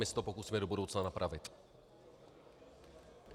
My se to pokusíme do budoucna napravit.